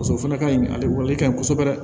Paseke o fana ka ɲi ale ka ɲi kɔsɔbɛ